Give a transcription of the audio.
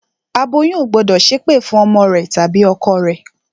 Aboyún ò gbọ́dọ̀ ṣẹ́ ẹ̀pẹ̀ fún ọmọ rẹ tàbí ọkọ rẹ